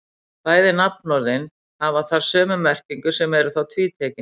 Bæði nafnorðin hafa þar sömu merkingu sem er þá tvítekin.